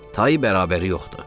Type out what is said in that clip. Tayı bərabəri yoxdur.